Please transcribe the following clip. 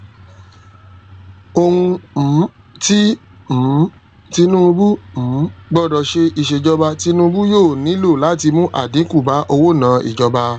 ohun um ti um tinubu um gbọdọ ṣe iṣejọba tinubu yoo nilo lati mu adinku ba owonaa ijọba